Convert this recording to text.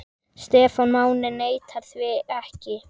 Stefán Máni neitar því ekki.